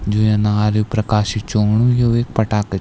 जू ये अनार प्रकाशी च औणु यु एक पटाका च।